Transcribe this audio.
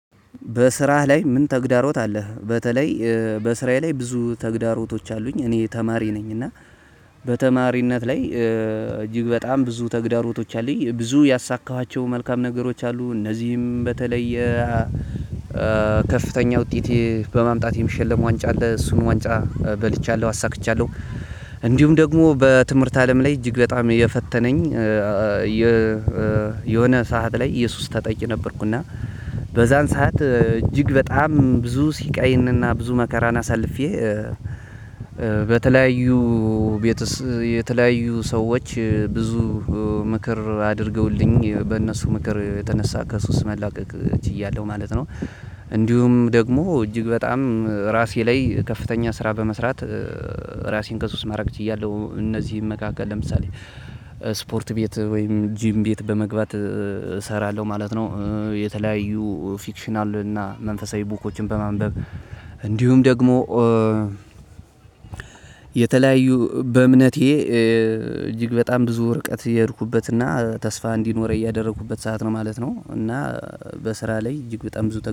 በስራህ ላይ ምን ተግዳሮት አለህ? በተለይ በስራየ ላይ ብዙ ተግዳሮቶች አሉኝ። እኔ ተማሪ ነኝ። እና በተማሪነት ላይ እጅግ በጣም ብዙ ተግዳሮቶች አሉኝ። ብዙ ያሳካኋቸው መልካም ነገሮች አሉ። እነዚህም በተለየ ከፍተኛ ውጤት በማምጣት የሚሸለም ዋንጫ አለ። እሱን ዋንጫ በልቻለሁ አሳክቻለሁ። እንዲሁም ደግሞ በትምህርት አለም ላይ እጅግ በጣም የፈተነኝ የሆነ ሰዓት ላይ የሱስ ተጠቂ ነበርኩ። እና በዛን ሰዓት አጅግ በጣም ብዙ ሲቃይንና ብዙ መከራን አሳልፌ። በተለያዩ ቤትስ የተለያዩ ሰዎች ብዙ ምክር አድርገውልኝ በነሱ ምክር የተነሳ ከሱስ መላቀቅ ችያለሁ ማለት ነው። እንዲሁም ደግሞ እጅግ በጣም ራሴ ላይ ከፍተኛ ስራ በመስራት ራሴን ከሱ ውስጥ ማራቅ ችያለሁ። እነዚህ መካከል ለምሳሌ ስፖርት ቤት ወይም ጂም ቤት በመግባት እሰራለሁ ማለት ነው። የተለያዩ ፊክሽናል እና መንፈሳዊ ቡኮችን በማንበብ እንዲሁም ደግሞ የተለያዩ በእምነቴ እጅግ በጣም ብዙ ርቀት እየሄድኩበትና ተስፋ እንዲኖረኝ እያደረኩበት ሰዓት ነው ማለት ነው። እና በስራ ላይ እጅግ በጣም ብዙ